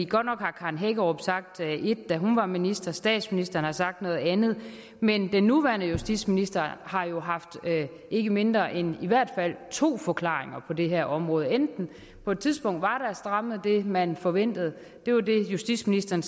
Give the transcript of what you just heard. godt nok har karen hækkerup sagt ét da hun var minister og statsministeren har sagt noget andet men den nuværende justitsminister har jo haft ikke mindre end to forklaringer på det her område på et tidspunkt var strammet det man forventede det var det justitsministeren